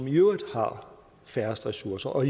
i øvrigt har færrest ressourcer og